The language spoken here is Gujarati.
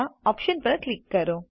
ઓપ્શન્સ પર ક્લિક કરો